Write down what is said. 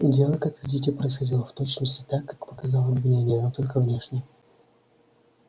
дело как видите происходило в точности так как показало обвинение но только внешне